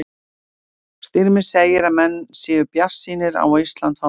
Styrmir segir að menn séu bjartsýnir á að Ísland fái verðlaunin.